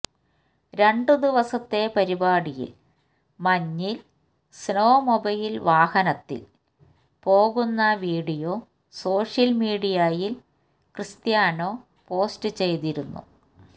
രണ്ടു ദിവസത്തെ പരിപാടിയിൽ മഞ്ഞിൽ സ്നോമൊബൈൽ വാഹനത്തിൽ പോകുന്ന വീഡിയോ സോഷ്യൽ മീഡിയയിൽ ക്രിസ്ത്യാനോ പോസ്റ്റ് ചെയ്തിരുന്നു